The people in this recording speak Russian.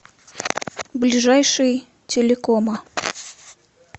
ближайший телекома